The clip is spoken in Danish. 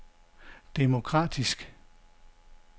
demokratisk